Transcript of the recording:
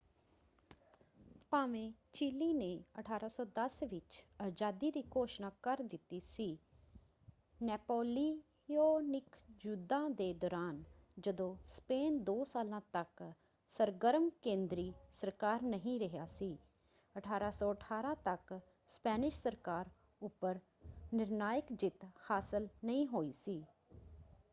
ਭਾਵੇਂ ਚਿਲੀ ਨੇ 1810 ਵਿੱਚ ਅਜ਼ਾਦੀ ਦੀ ਘੋਸ਼ਣਾ ਕਰ ਦਿੱਤੀ ਸੀ ਨੈਪੋਲੀਓਨਿਕ ਯੁੱਧਾਂ ਦੇ ਦੌਰਾਨ ਜਦੋਂ ਸਪੇਨ ਦੋ ਸਾਲਾਂ ਤੱਕ ਸਰਗਰਮ ਕੇਂਦਰੀ ਸਰਕਾਰ ਨਹੀਂ ਰਿਹਾ ਸੀ 1818 ਤੱਕ ਸਪੈਨਿਸ਼ ਸਰਕਾਰ ਉੱਪਰ ਨਿਰਣਾਇਕ ਜਿੱਤ ਹਾਸਲ ਨਹੀਂ ਹੋਈ ਸੀ।